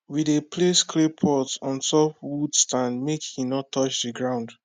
we dey place clay pot on top wood stand make e no touch ground